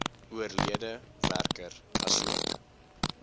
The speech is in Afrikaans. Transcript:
oorlede werker asook